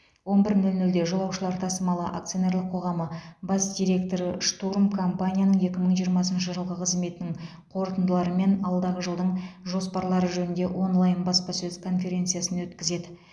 он бір нөл нөлде жолаушылар тасымалы акционерлік қоғамы бас директоры штурм компанияның екі мың жиырмасыншы жылғы қызметінің қорытындылары мен алдағы жылдың жоспарлары жөнінде онлайн баспасөз конференциясын өткізеді